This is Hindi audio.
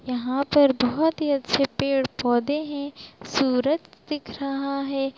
यहां पर बोहोत ही अच्छे पेड़-पौधे है सूरज दिख रहा है।